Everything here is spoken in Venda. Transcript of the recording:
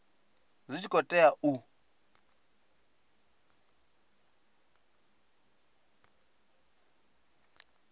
zwi tshi khou tea u